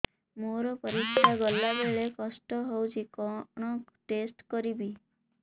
ମୋର ପରିସ୍ରା ଗଲାବେଳେ କଷ୍ଟ ହଉଚି କଣ ଟେଷ୍ଟ କରିବି